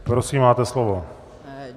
Prosím, máte slovo.